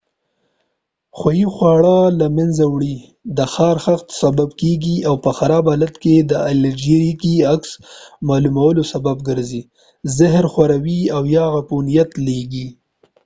خوۍ خواړه له منځه وړي د خارښت سبب کېږي او په خراب حالت کې د الرژيکي عکس العملونو سبب ګرځي زهر خوروي او یا عفونیت لېږي